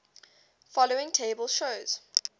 following table shows